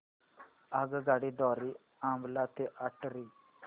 आगगाडी द्वारे अंबाला ते अटारी